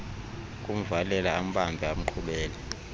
kumvalela ambambe amqhubele